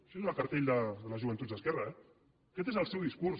això és el cartell de les joventuts d’esquerra eh aquest és el seu discurs